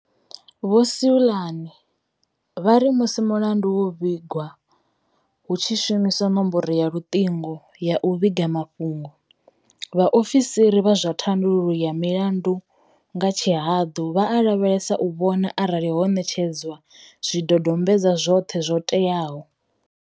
Vho Seloane vha ri musi mulandu wo vhigwa hu tshi shumiswa nomboro ya luṱingo ya u vhiga mafhungo, vhaofisiri vha zwa thandululo ya milandu nga tshihaḓu vha a lavhelesa u vhona arali ho ṋetshedzwa zwidodombedzwa zwoṱhe zwo teaho.